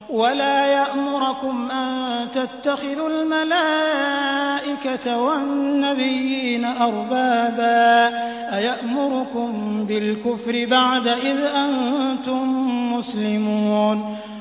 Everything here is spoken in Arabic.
وَلَا يَأْمُرَكُمْ أَن تَتَّخِذُوا الْمَلَائِكَةَ وَالنَّبِيِّينَ أَرْبَابًا ۗ أَيَأْمُرُكُم بِالْكُفْرِ بَعْدَ إِذْ أَنتُم مُّسْلِمُونَ